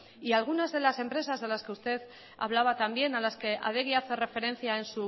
y algunas de las empresas de las que usted hablaba también a las que adegi hace referencia